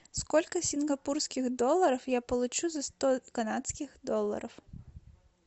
сколько сингапурских долларов я получу за сто канадских долларов